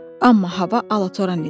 Amma hava alatoran idi.